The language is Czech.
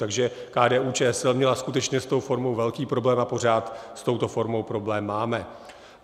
Takže KDU-ČSL měla skutečně s tou formou velký problém a pořád s touto formou problém máme.